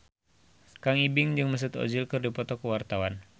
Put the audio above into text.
Kang Ibing jeung Mesut Ozil keur dipoto ku wartawan